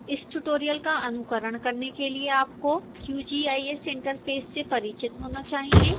इस ट्यूटोरियल का अनुकरण करने के लिए आपको qgis interface से परिचित होना चाहिए